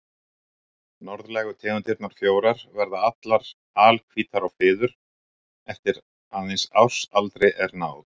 Norðlægu tegundirnar fjórar verða allar alhvítar á fiður eftir að eins árs aldri er náð.